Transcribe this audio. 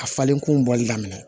A falenkun bɔli daminɛ